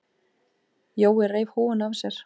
Jói reif húfuna af sér.